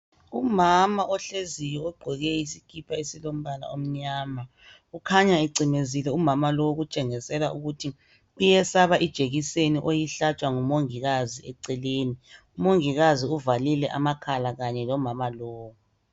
Umama ohleziyo ogqoke isikipa esilombala omnyama, ukhanya ecimezile umama lo ukutshengisela ukuthi uyesaba ijekiseni oyihlatshwa ngumongikazi eceleni ,umongikazi uvalile amakhala Kanye lomama lowu.